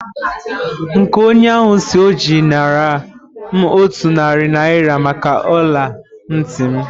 Nka onye isi oji a nara m otu narị naira maka ọla ntị m